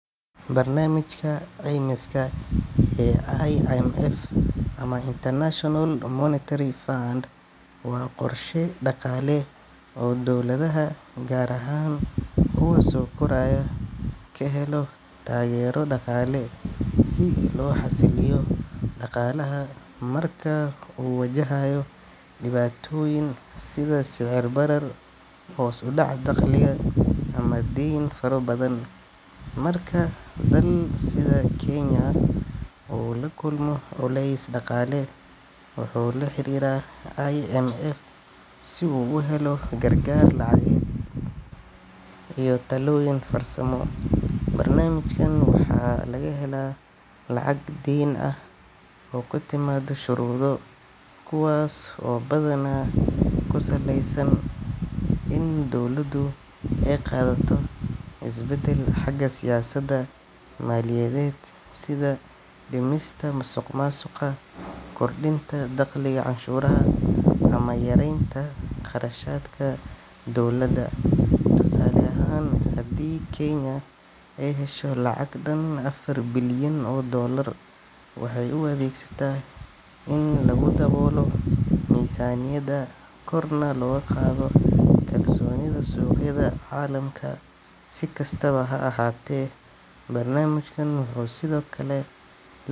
Barnaamijka caymiska ee IMF ama International Monetary Fund waa qorshe dhaqaale oo dowladaha, gaar ahaan kuwa soo koraya, ka helo taageero dhaqaale si loo xasiliyo dhaqaalaha marka uu wajahayo dhibaatooyin sida sicir barar, hoos u dhac dakhliga, ama deyn faro badan. Marka dal sida Kenya uu la kulmo culays dhaqaale, wuxuu la xiriiraa IMF si uu u helo gargaar lacageed iyo talooyin farsamo. Barnaamijkan waxaa laga helaa lacag deyn ah oo ku timaada shuruudo, kuwaas oo badanaa ku saleysan in dowladdu ay qaadato isbeddel xagga siyaasadda maaliyadeed sida dhimista musuqmaasuqa, kordhinta dakhliga canshuuraha, ama yareynta qarashaadka dowladda. Tusaale ahaan, haddii Kenya ay hesho lacag dhan afar bilyan oo doolar, waxay u adeegsataa in lagu daboolo miisaaniyadda, korna loogu qaado kalsoonida suuqyada caalamka. Si kastaba ha ahaatee, barnaamijkan wuxuu sidoo kale la.